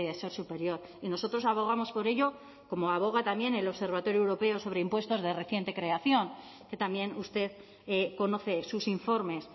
ser superior y nosotros abogamos por ello como aboga también el observatorio europeo sobre impuestos de reciente creación que también usted conoce sus informes